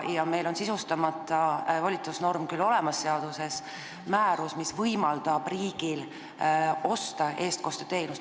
Sisustamata volitusnorm on küll seaduses olemas, määrus, mis võimaldab riigil eestkosteteenust osta.